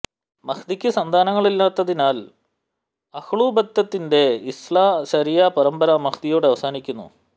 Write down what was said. മഹ്ദിക്ക് സന്താനങ്ങളില്ലാഞ്ഞതിനാൽ അഹ്ലു ബൈത്തിന്റെ ഇസ്നാ അശരിയ്യാ പരമ്പര മഹ്ദിയോടെ അവസാനിക്കുന്നു